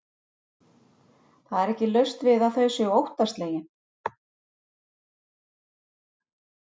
Það er ekki laust við að þau séu óttaslegin.